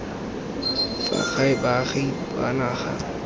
fa gae baagi ba naga